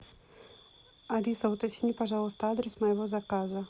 алиса уточни пожалуйста адрес моего заказа